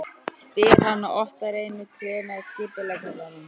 spyr hann og otar einu trénu að skipuleggjandanum.